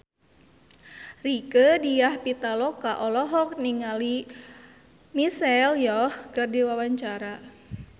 Rieke Diah Pitaloka olohok ningali Michelle Yeoh keur diwawancara